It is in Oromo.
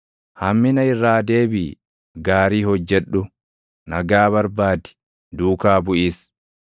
Hammina irraa deebiʼi; gaarii hojjedhu; nagaa barbaadi; duukaa buʼis.